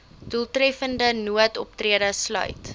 doeltreffende noodoptrede sluit